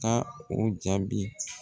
Taa o jaabi.